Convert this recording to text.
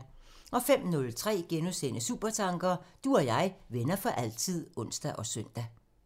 05:03: Supertanker: Du og jeg, venner for altid *(ons og søn)